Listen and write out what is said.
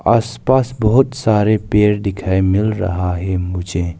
आस पास बहुत सारे पेड़ दिखाई मिल रहा है मुझे।